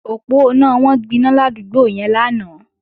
Òponá wọn gbiná ládúgbò yẹn lánàá